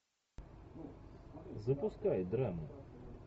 запускай драму